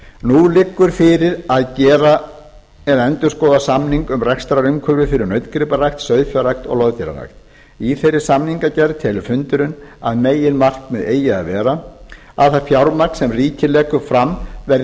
nú liggur fyrir að gera og eða endurskoða samninga um rekstrarumhverfi fyrir nautgriparækt sauðfjárrækt og loðdýrarækt í þeirri samningagerð telur fundurinn að meginmarkmið eigi að vera fyrsta að það fjármagn sem ríkið leggur fram verði